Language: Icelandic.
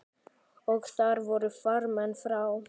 Og þar voru farmenn frá